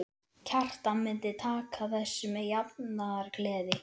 Kjartan myndi taka þessu með jafnaðargeði.